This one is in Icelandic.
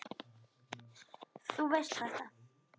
Þú veist þetta.